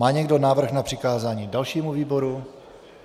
Má někdo návrh na přikázání dalšímu výboru?